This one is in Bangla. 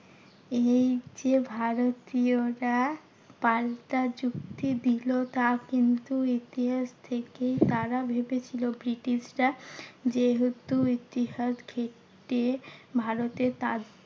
এই যে ভারতীয়রা পাল্টা যুক্তি দিলো তা কিন্তু ইতিহাস থেকেই। তারা ভেবেছিলো ব্রিটিশরা যেহেতু ইতিহাস ঘেঁটে ভারতে তার